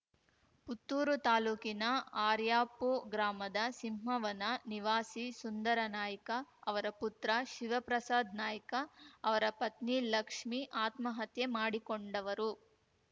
ಪುತ್ತೂರು ತಾಲೂಕಿನ ಆರ್ಯಾಪು ಗ್ರಾಮದ ಸಿಂಹವನ ನಿವಾಸಿ ಸುಂದರ ನಾಯ್ಕ ಅವರ ಪುತ್ರ ಶಿವಪ್ರಸಾದ್ ನಾಯ್ಕ ಅವರ ಪತ್ನಿ ಲಕ್ಷ್ಮಿ ಆತ್ಮಹತ್ಯೆ ಮಾಡಿಕೊಂಡವರು